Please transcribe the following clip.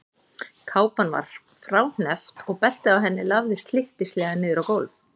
Kápan var fráhneppt og beltið á henni lafði slyttislega niður á gólf.